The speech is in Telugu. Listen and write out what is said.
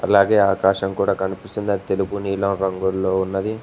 అలాగే ఆకాశం కూడా కనిపిస్తుంది అది తెలుగు నీలం రంగుల్లో ఉన్నది.